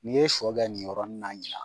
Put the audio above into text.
N'i ye sɔ kɛ nin yɔrɔnin na ɲina